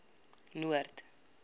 noord